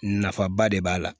Nafaba de b'a la